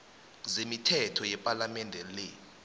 zemithetho yepalamende le